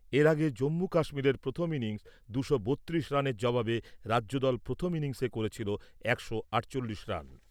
এর আগে জম্মু কাশ্মীরের প্রথম ইনিংস দুশো বত্রিশ রানের জবাবে রাজ্যদল প্রথম ইনিংসে করেছিল একশো আটচল্লিশ রান।